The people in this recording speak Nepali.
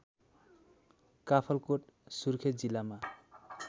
काफलकोट सुर्खेत जिल्लामा